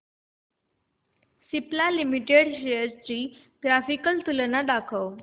Cipla limited shares ची graphical तुलना दाखव